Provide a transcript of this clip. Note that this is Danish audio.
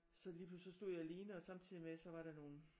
Så lige pludselig så stod jeg alene og samtidig med så var der nogle